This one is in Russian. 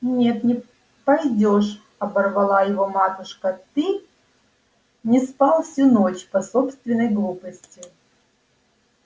нет не пойдёшь оборвала его матушка ты не спал всю ночь по собственной глупости